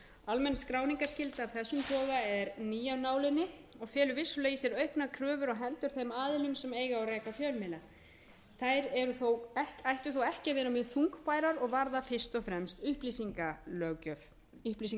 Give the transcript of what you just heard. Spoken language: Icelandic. almenn skráningarskylda af þessum toga er ný af nálinni og felur vissulega í sér auknar kröfur á hendur þeim aðilum sem eiga og reka fjölmiðla þær ættu þó ekki að vera mjög þungbærar og varða fyrst og fremst upplýsingagjöf það er veita upplýsingar við